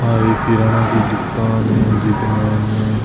आ एक किराणा की दुकान है जी के मायने --